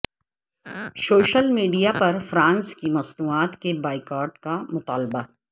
social media پر France کی مصنوعات کے بائیکاٹ کا مطالبہ